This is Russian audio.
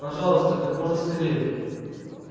пожалуйста как можно скорее